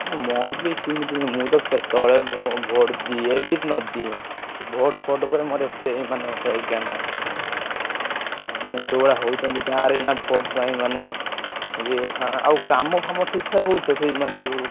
ଆଉ ମୋର ବି ସିମିତି ମୁଁ ତ କେତବେଳେ ଭୋ vote ଦିଏ ବି ନ ଦିଏ, vote ଫୋଟ୍ ଉପରେ ମୋର ଏତେ ମାନେ ହେ ଜ୍ଞାନ ମାନେ ଯୋଉଭଳିଆ ହଉଛନ୍ତି ଗାଁରେ ନା vote ପାଇଁ ମାନେ ଇଏ ଅଇଖା ଆଉ କାମ ଫାମ ଠିକ୍ ଠାକ ହଉଛି ସିଏ ମାନେ ଯୋଉ।